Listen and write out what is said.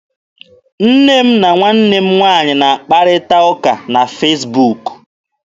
Nne m na nwanne m nwaanyị na-akparịta ụka na Fesbuk.